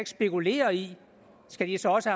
spekulerer i skal de så også